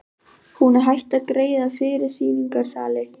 Hún er hætt að greiða fyrir sýningarsali.